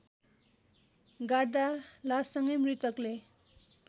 गाड्दा लाससँगै मृतकले